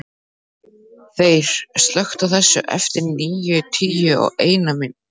Þeyr, slökktu á þessu eftir níutíu og eina mínútur.